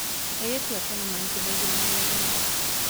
airĩtu a tene mahikagio marĩ agimaru